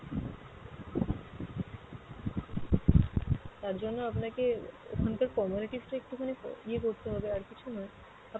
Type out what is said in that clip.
তার জন্য আপনাকে ওখানকার formalities টা একটুখানি ইয়ে করতে হবে আর কিছু নয় আপনি,